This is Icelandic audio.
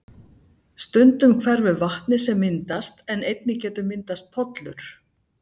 Stundum hverfur vatnið sem myndast en einnig getur myndast pollur.